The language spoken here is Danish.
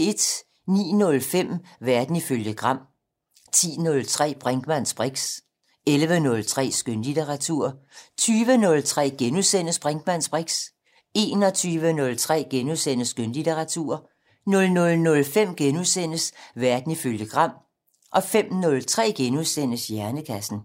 09:05: Verden ifølge Gram 10:03: Brinkmanns briks 11:03: Skønlitteratur 20:03: Brinkmanns briks * 21:03: Skønlitteratur * 00:05: Verden ifølge Gram * 05:03: Hjernekassen *